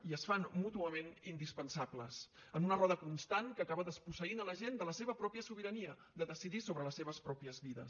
i es fan mútuament indispensables en una roda constant que acaba desposseint la gent de la seva pròpia sobirania de decidir sobre les seves pròpies vides